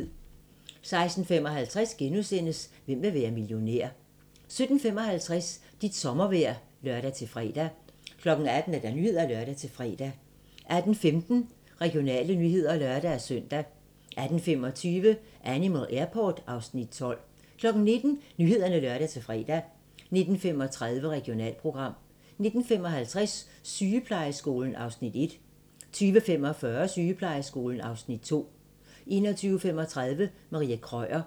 16:55: Hvem vil være millionær? * 17:55: Dit sommervejr (lør-fre) 18:00: Nyhederne (lør-fre) 18:15: Regionale nyheder (lør-søn) 18:25: Animal Airport (Afs. 12) 19:00: Nyhederne (lør-fre) 19:35: Regionalprogram 19:55: Sygeplejeskolen (Afs. 1) 20:45: Sygeplejeskolen (Afs. 2) 21:35: Marie Krøyer